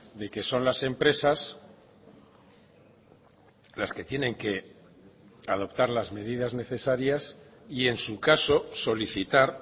de que son las empresas las que tienen que adoptar las medidas necesarias y en su caso solicitar